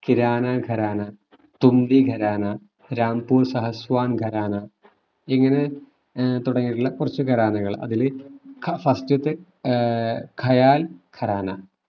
കിരാന ഖരാന, തുമ്പി ഖരാന, രാംപൂർ ഷാഹ്‌സ്വാൻ ഖരാന, ഇങ്ങനെ ഏർ തുടങ്ങീട്ടുള്ള കുറച്ചു ഖരാനകൾ അതില് first തെ ഏർ ഖയാൽ ഖരാന